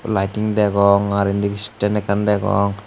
lighting degong ar indi stend ekkan degong.